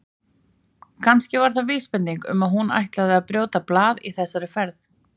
Kannski var það vísbending um að hún ætlaði að brjóta blað í þessari ferð.